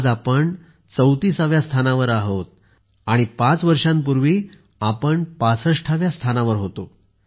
आज आपण 34 व्या स्थानावर आहोत आणि पाच वर्षांपूर्वी आपण 65 व्या स्थानावर होतो